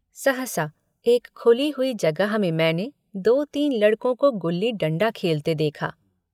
सहसा एक खुली हुई जगह में मैंने दो तीन लड़कों को गुल्ली डण्डा खेलते देखा।